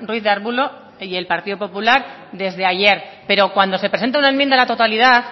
ruiz de arbulo y el partido popular desde ayer pero cuando se presenta una enmienda a la totalidad